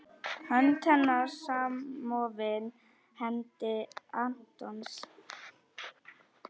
Hönd hennar samofin hendi Antons.